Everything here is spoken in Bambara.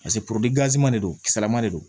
Paseke de do kisɛlama de don